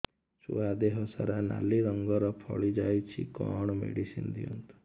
ଛୁଆ ଦେହ ସାରା ନାଲି ରଙ୍ଗର ଫଳି ଯାଇଛି କଣ ମେଡିସିନ ଦିଅନ୍ତୁ